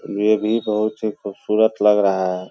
ये भी बहुत ही खूबसूरत लग रहा है।